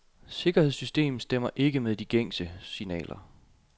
Sikkerhedssystem stemmer ikke med de gængse signaler.